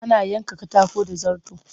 Ana yanka katako da zarto